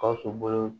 Gawusu bolo